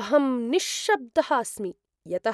अहं निश्शब्दः अस्मि यत्